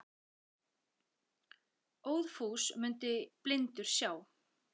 Óðfús mundi blindur sjá.